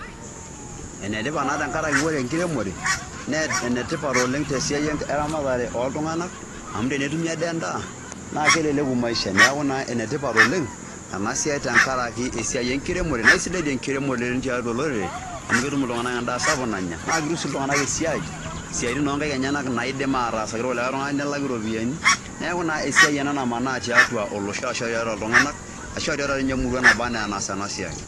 Ene tipat naa tenkaraki ore enkiremore nee enetipat oleng' te siai eramatare oltung'anak amu tenetumi ade endaa naa keleleku maisha. Neeku naa enetipat oleng' ena siai tenkaraki esiai enkiremore nae sidai enkiremore tiatua olorere amu ketum iltung'anak endaa sapuk nanya naa ketum sii iltung'anak esia, isiaitin o nkaek enyenak naidim aatasaki ilkulikai tung'anak netumi iropiani, neeku naa esia ena namanaa tiatua olosho ashu tiatua iltung'anak ashu tiatua nye emurua naba naa enaas ena siai.